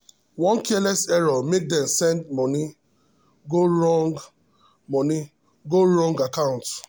um one careless error make dem send money go wrong money go wrong account.